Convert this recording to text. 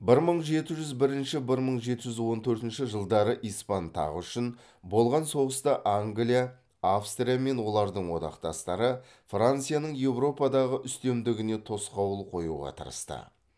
бір мың жеті жүз бірінші бір мың жеті жүз он төртінші жылдары испан тағы үшін болған соғыста англия австрия мен олардың одақтастары францияның еуропадағы үстемдігіне тосқауыл қоюға тырысты